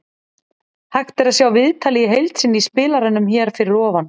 Hægt er að sjá viðtalið í heild sinni í spilaranum hér fyrir ofan.